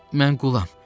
Mən qulam.